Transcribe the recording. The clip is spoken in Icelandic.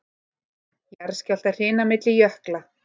Jarðskjálftahrina milli jökla